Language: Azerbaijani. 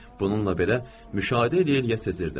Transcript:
Bununla belə müşahidə eləyir yəni sezirrdim.